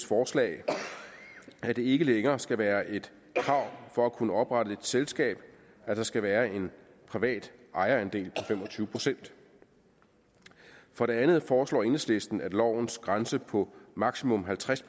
forslag at det ikke længere skal være et krav for at kunne oprette et selskab at der skal være en privat ejerandel på fem og tyve procent for det andet foreslår enhedslisten at lovens grænse på maksimum halvtreds